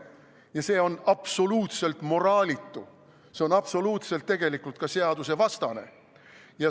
Ja see on absoluutselt moraalitu, see on tegelikult ka absoluutselt seadusvastane.